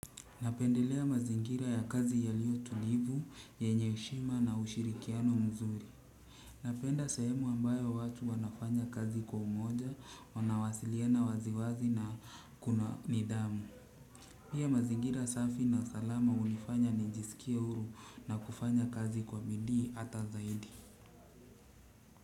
Napendelea mazingira ya kazi yalio tulivu, yenye heshima na ushirikiano mzuri. Napenda sehemu ambayo watu wanafanya kazi kwa umoja, wanawasiliana waziwazi na kuna nidhamu. Pia mazingira safi na salama hunifanya nijisikie huru na kufanya kazi kwa bidii hata zaidi.